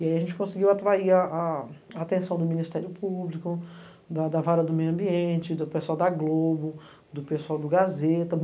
E aí a gente conseguiu atrair a atenção do Ministério Público, da Vara do Meio Ambiente, do pessoal da Globo, do pessoal do Gazeta.